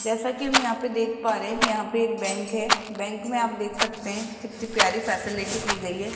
जैसा की हम यहां पे देख पा रहे यहां पे एक बैंक है बैंक मे आप देख सकते है कितनी प्यारी फैसिलिटी की गयी है।